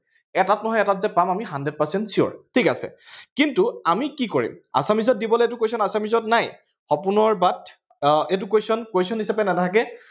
এটাত নহয় এটাত যে পাম hundred percent sure ঠিক আছে কিন্তু আমি কি কৰিম assamese ত দিবলে এইটো question assamese ত নাই সপোনৰ but আ এইটো question question হিচাপে নাথাকে